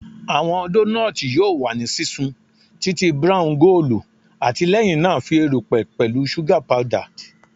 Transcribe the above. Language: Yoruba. Awọn donuts yoo wa ni sisun titi brown goolu ati lẹhinna fi erupẹ erupẹ pẹlu suga powdered